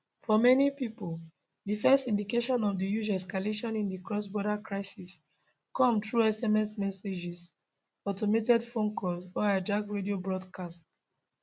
for many pipo di first indications of di huge escalation in di crossborder crisis come through sms messages automated phone calls or hijacked radio broadcasts